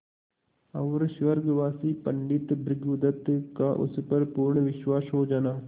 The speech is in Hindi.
और स्वर्गवासी पंडित भृगुदत्त का उस पर पूर्ण विश्वास हो जाना